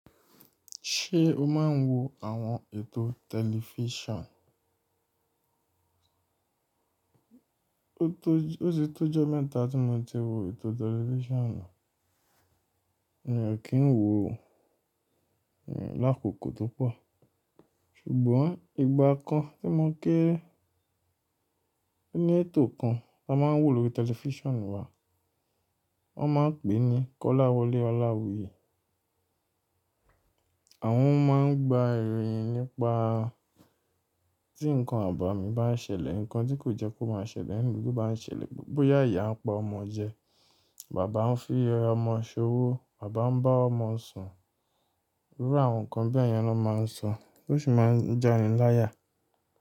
Ṣé o máa ń wo àwọn ètò tẹlifíṣàn? Ó ti tó ọjọ́ mẹ́ta tí mo ti wo ètò tẹlifíṣàn náà. Mi ò kí ń wo lákòókò tó pọ̀. Ṣùgbọ́n ìgbà kan tí mo ń kéré, oni ètò kan tá máa ń wò lórí tẹlifíṣàn wa. Wọ́n máa ń pè é ní Kọ́láwọlé ọláwuyìí. Àwọn ọ̀ máa ń gba ìròyìn nípa tí nǹkan àbámi bá ń ṣẹlẹ̀, nǹkan tí kò jẹ́ kó máa ṣẹlẹ̀ nínú ìlú bá ń ṣẹlẹ̀, bóyá ìyá ń pa ọmọ jẹ, bàbá ń fi ọmọ ṣowó, bàbá ń bá ọmọ sùn. Irú àwọn nǹkan bí èèyán ló máa ń sọ, tó sì máa ń jiani láyà.